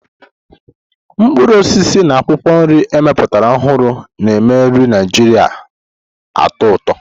Mkpụrụ osisi na akwụkwọ nri ewepụtara ọhụrụ na-eme nri Naijiria na-atọ ụtọ.